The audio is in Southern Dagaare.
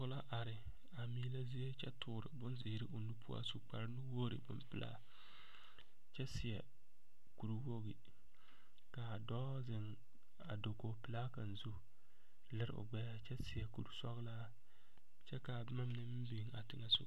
pɔge la are a meelɛ zie kyɛ tɔɔre bonzeɛre o nu poɔ a su kpare nuwogiri bonpelaa, kyɛ seɛ kur wogi kaa dɔɔ zeŋ dakogi pelaa kaŋa zu kyɛ leri o gbɛɛ a kyɛ seɛ kur sɔglaa kyɛ kaa boma mine meŋ biŋ a teŋɛ soga